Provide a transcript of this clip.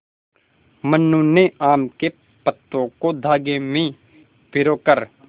मनु ने आम के पत्तों को धागे में पिरो कर